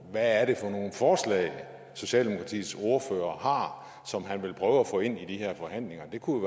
hvad er det for nogle forslag socialdemokratiets ordfører som han vil prøve at få ind i de her forhandlinger det kunne